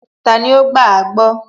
Tani ó gbàágbọ́?